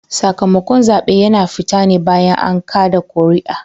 Sakamakon zaɓe yana fita ne bayan an kada kuri'a